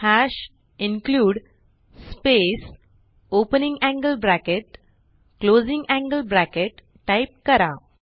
hash include space opening angle bracket closing angle bracket type करा